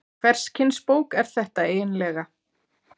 Hvers kyns bók er þetta eiginlega?